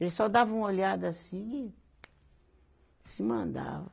Ele só dava uma olhada assim e se mandava.